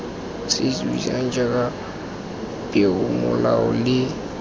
se buisegang jaana peomolao le